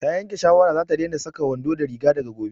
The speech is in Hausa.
Ta yanke shawara za ta daina saka wando da riga daga gobe